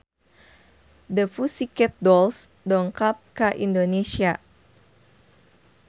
The Pussycat Dolls dongkap ka Indonesia